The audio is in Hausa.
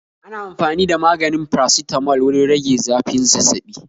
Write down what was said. Ana amfani da maganin paracetamol wurin rage zafin Zazzabi